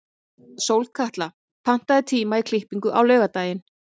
Sólkatla, pantaðu tíma í klippingu á laugardaginn.